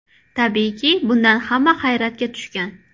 Tabiiyki, bundan hamma hayratga tushgan.